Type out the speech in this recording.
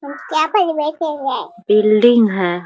Building है ।